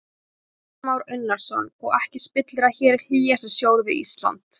Kristján Már Unnarsson: Og ekki spillir að hér er hlýjasti sjór við Ísland?